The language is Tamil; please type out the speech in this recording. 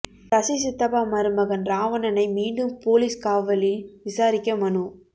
சசி சித்தப்பா மருமகன் ராவணனை மீண்டும் போலீஸ் காவலில் விசாரிக்க மனு